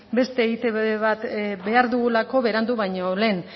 beste eitb bat behar dugulako berandu baino lehen